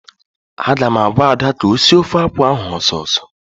Aga m agwa Ada ka o sie ofe akwụ ahụ ọsọ ọsọ!